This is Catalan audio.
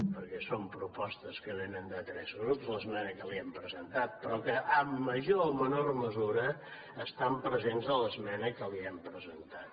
perquè són propostes que vénen de tres grups l’esmena que li hem presentat però que en major o menor mesura estan presents a l’esmena que li hem presentat